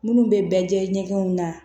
Minnu bɛ jɛ ɲɛgɛnw na